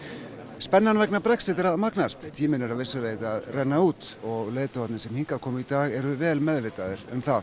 spennan vegna Brexit er að magnast tíminn er að vissu leyti að renna út og leiðtogarnir sem hingað komu í dag eru vel meðvitaðir um það